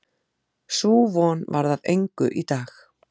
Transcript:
Sú von varð að engu í dag.